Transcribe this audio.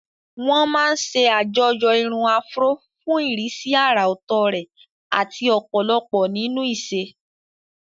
Wọ́n máa ń ṣe àjọyọ̀ irun Afro fún ìrísí àrà ọ̀tọ̀ rẹ̀ àti ọ̀pọ̀lọpọ̀ nínú ìṣe.